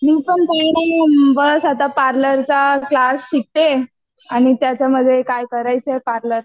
मी पण काही नाही बस आता पार्लरचा क्लास शिकतेय आणि त्याच्यामध्ये काय करायचंय पार्लरच.